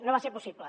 no va ser possible